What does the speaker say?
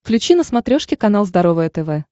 включи на смотрешке канал здоровое тв